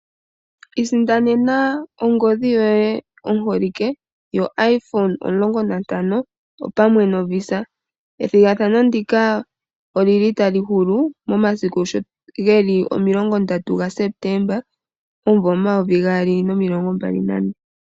Iisindanena ongodhi yoye oholike yo iPhone 15 (omulongo nantano), opamwe no VISA. Ethigathano ndika olili tali hulu mo 30 Sepetemba 2024.